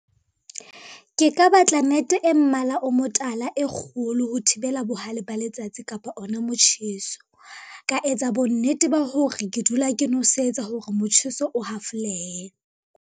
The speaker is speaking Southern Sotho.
Ke ka batla nete e mmala o motala e kgolo ho thibela bohale ba letsatsi kapa ona motjheso. Ka etsa bonnete ba hore ke dula ke nosetsa hore motjheso o hafolehe.